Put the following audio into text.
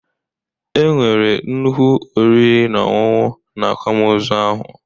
E nwere nnukwu oriri na ọṅụṅụ na akwamozu ahụ